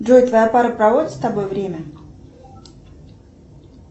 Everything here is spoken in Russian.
джой твоя пара проводит с тобой время